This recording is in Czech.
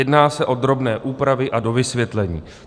Jedná se o drobné úpravy a dovysvětlení.